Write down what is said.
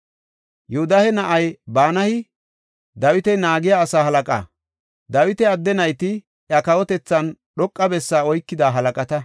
Yoodahe na7ay Banayi Dawita naagiya asaa halaqa; Dawita adde nayti iya kawotethan dhoqa bessa oykida halaqata.